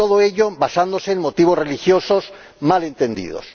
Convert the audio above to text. Y todo ello basándose en motivos religiosos mal entendidos.